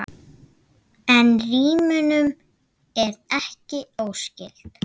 En rímunin er ekki óskyld.